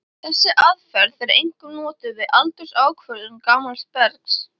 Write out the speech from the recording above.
Þessi aðferð er einkum notuð við aldursákvörðun gamals bergs.